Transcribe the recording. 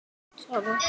getur átt við